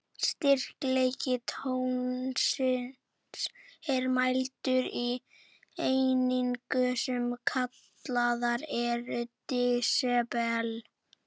Styrkleiki tónsins er mældur í einingum, sem kallaðar eru desibel.